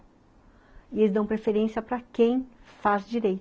E eles dão preferência para quem faz direi